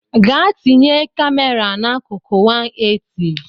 Gaa tinye kamera n’akụkụ 180